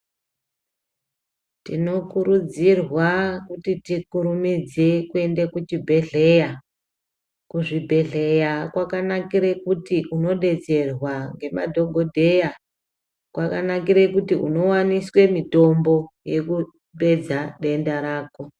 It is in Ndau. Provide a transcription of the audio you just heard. Tinokurudzirwa kuti tikurumidze kuenda kuzvibhedhlera, kuzvibhedhlera kwakanakire kuti unodetserwa nemadhogodheya , kwakanikire kuti unowaniswe mitombo yekupedza denda rako.